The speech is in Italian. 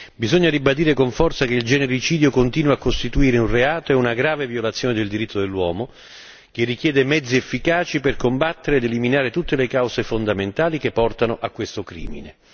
Bisogna ribadire con forza che il genericidio continua a costituire un reato e una grave violazione del diritto dell'uomo, che richiede mezzi efficaci per combattere ed eliminare tutte le cause fondamentali che portano a questo crimine.